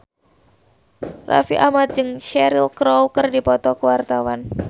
Raffi Ahmad jeung Cheryl Crow keur dipoto ku wartawan